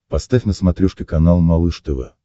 поставь на смотрешке канал малыш тв